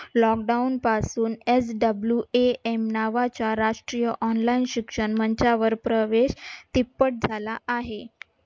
lockdown पासून Swam नावाच्या राष्ट्रीय online शिक्षण मंचावर प्रवेश तिप्पट झाला आहे.